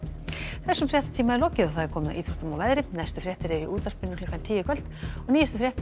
þessum fréttatíma er lokið og komið að íþróttum og veðri næstu fréttir eru í útvarpinu klukkan tíu í kvöld og nýjustu fréttir